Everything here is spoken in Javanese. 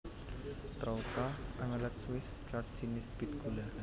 Troucha omelet Swiss Chard jinis bit gula